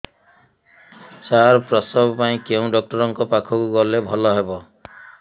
ସାର ପ୍ରସବ ପାଇଁ କେଉଁ ଡକ୍ଟର ଙ୍କ ପାଖକୁ ଗଲେ ଭଲ ହେବ